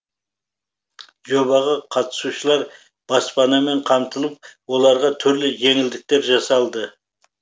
жобаға қатысушылар баспанамен қамтылып оларға түрлі жеңілдіктер жасалды